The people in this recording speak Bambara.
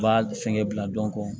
N b'a fɛnkɛ bila